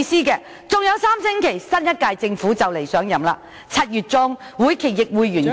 還有3星期，新一屆政府便會上任，而到了7月中，會期亦告完結......